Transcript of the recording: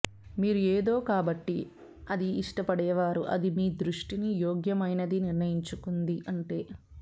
మీరు ఏదో కాబట్టి అది ఇష్టపడేవారు అది మీ దృష్టిని యోగ్యమైనది నిర్ణయించుకుంది ఉంటే